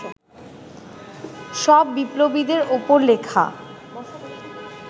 সব বিপ্লবীদের ওপর লেখা